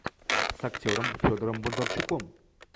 с актером федором бондарчуком